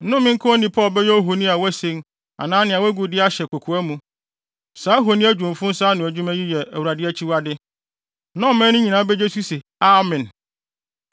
“Nnome nka onipa a ɔbɛyɛ ohoni a wɔasen anaa nea wɔagu de ahyɛ kokoa mu. Saa ahoni, adwumfo nsa ano nnwuma yi yɛ Awurade akyiwade.” Na ɔman no nyinaa begye so se, “Amen!”